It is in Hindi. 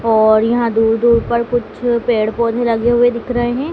और यहां दूर दूर पर कुछ पेड़ पौधे लगे हुए दिख रहे हैं।